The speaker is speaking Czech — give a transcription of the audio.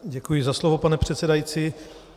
Děkuji za slovo, pane předsedající.